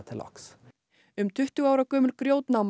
um tuttugu ára gömul